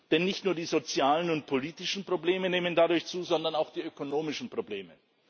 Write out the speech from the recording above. Denn nicht nur die sozialen und politischen Probleme nehmen dadurch zu, sondern auch die ökonomischen Probleme.